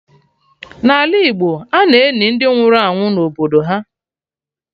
N'ala Igbo, ana-eni ndị nwụrụ anwụ na obodo ha